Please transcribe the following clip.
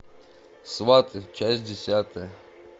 сваты часть десятая